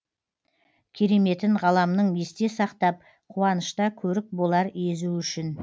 кереметін ғаламның есте сақтап қуанышта көрік болар езу үшін